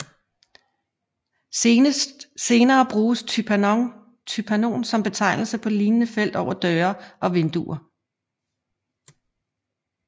Senere bruges tympanon som betegnelse på lignende felt over døre og vinduer